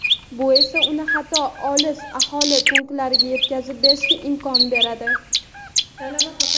Bu esa uni hatto olis aholi punktlariga yetkazib berishga imkon beradi.